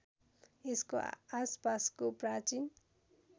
यसको आसपासको प्राचीन